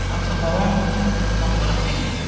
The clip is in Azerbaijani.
Ancaq babam bunu tam olaraq bilmirdi.